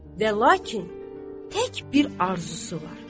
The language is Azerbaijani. Və lakin tək bir arzusu var.